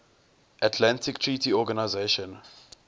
atlantic treaty organisation